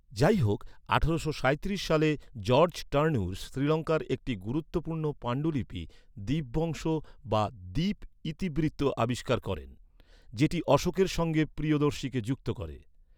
যাইহোক, আঠারোশো সাঁইত্রিশ সালে, জর্জ টার্নুর শ্রীলঙ্কার একটি গুরুত্বপূর্ণ পাণ্ডুলিপি, দীপবংশ, বা 'দ্বীপ ইতিবৃত্ত' আবিষ্কার করেন, যেটি অশোকের সঙ্গে প্রিয়দর্শীকে যুক্ত করে।